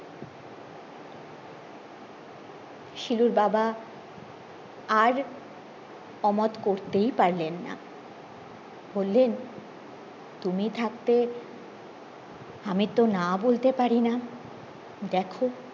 শিলুর বাবা আর অমত করতেই পারলেন না বললেন তুমি থাকতে আমি তো না বলতে পারিনা দেখো